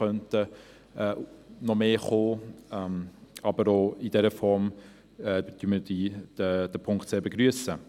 Aber auch in dieser Form begrüssen wir diesen Punkt sehr.